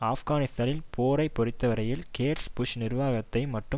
ஆப்கானிஸ்தான் போரை பொறுத்தவரையில் Gates Bush நிர்வாகத்தை மட்டும்